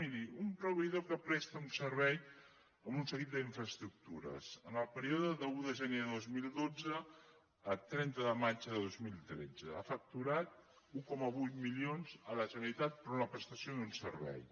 miri un proveïdor que presta un servei amb un seguit d’infraestructures en el període d’un de gener de dos mil dotze a trenta de maig de dos mil tretze ha facturat un coma vuit milions a la generalitat per una prestació d’un servei